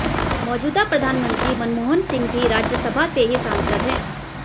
मौजूदा प्रधानमंत्री मनमोहन सिंह भी राज्यसभा से ही सांसद हैं